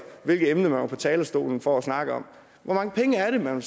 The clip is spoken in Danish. hvilket emne man var på talerstolen for at snakke om hvor mange penge er det man